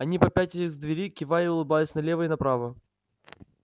они попятились к двери кивая и улыбаясь налево и направо